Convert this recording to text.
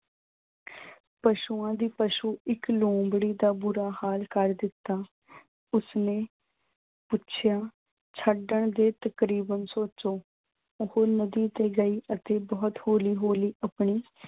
ਪਸ਼ੂਆਂ ਦੀ ਪਸ਼ੂ ਇੱਕ ਲੂੰਬੜੀ ਦਾ ਬੁਰਾ ਹਾਲ ਕਰ ਦਿੱਤਾ। ਉਸਨੇ ਪੁੱਛਿਆ ਤਕਰੀਬਨ ਸੋਚੋ। ਉਹ ਨਦੀ ਕੋਲ ਗਈ ਅਤੇ ਬਹੁਤ ਹੌਲੀ-ਹੌਲੀ ਆਪਣੀ